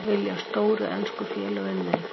Vilja stóru ensku félögin mig?